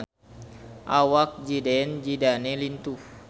Awak Zidane Zidane lintuh